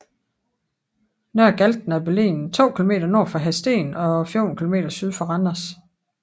Nørre Galten er beliggende to kilometer nord for Hadsten og 14 kilometer syd for Randers